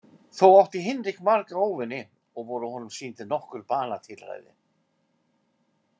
Þó átti Hinrik marga óvini og voru honum sýnd nokkur banatilræði.